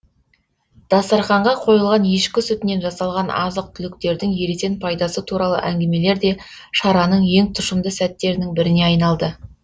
дастарқанға қойылған ешкі сүтінен жасалған азық түліктердің ересен пайдасы туралы әңгімелер де шараның ең тұщымды сәттерінің біріне айналды